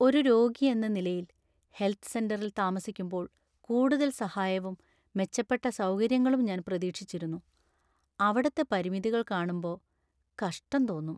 ഒരു രോഗിയെന്ന നിലയിൽ, ഹെൽത്ത് സെന്ററിൽ താമസിക്കുമ്പോൾ കൂടുതൽ സഹായവും, മെച്ചപ്പെട്ട സൗകര്യങ്ങളും ഞാൻ പ്രതീക്ഷിച്ചിരുന്നു, അവിടത്തെ പരിമിതികൾ കാണുമ്പോ കഷ്ടം തോന്നും.